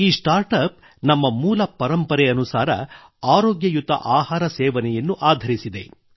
ಈ startup ನಮ್ಮ ಮೂಲ ಪರಂಪರೆ ಅನುಸಾರ ಆರೋಗ್ಯಯುತ ಆಹಾರ ಸೇವನೆಯನ್ನು ಆಧರಿಸಿದೆ